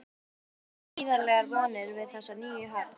Kristján: Þið bindið gríðarlegar vonir við þessa nýju höfn?